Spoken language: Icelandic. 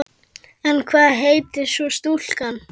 En hvað heitir svo stúlkan?